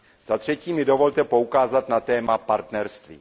Za třetí mi dovolte poukázat na téma partnerství.